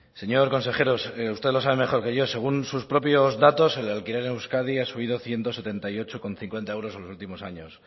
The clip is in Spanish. señor consejero usted lo sabe mejor que yo según sus propios datos el alquiler en euskadi ha subido ciento setenta y ocho coma cincuenta euros en los últimos años